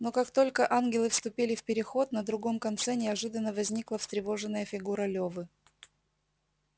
но как только ангелы вступили в переход на другом конце неожиданно возникла встревоженная фигура лёвы